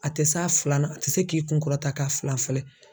A tɛ s'a filanan a tɛ se k'i kunkɔrɔta k'a fila filɛ